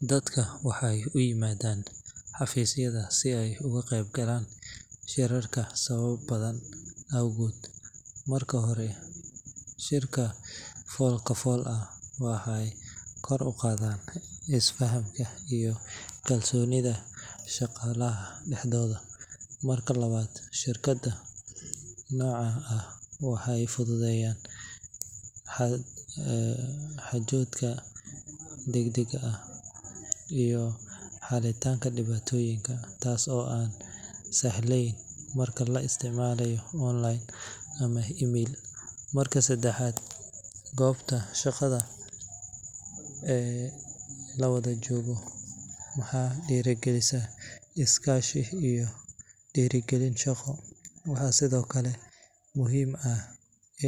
Dadka waxey uimadaan xafiisyada si ey uguqeyb galaan shirarka sawaba badhan awgood. Marka hore shirka folkafol ah waxey kor uqadhaan isfahamka iyo kalsoonidha shaqalaha dahdoodha. Marka labaad ,shirkada nocaan ah waxey fudhudheyaan xaajodka dagdag ah iyo xalitaanka dibaatoyiinka taas oo aan sahleen marka laisticmalayo online ama email. Marka sedahaad goobta shaqadha lawadhajoogo waxey dirigalisa iskaashi iyo dirigalin shaqo. Waxaa sidhoo kale muhiim ah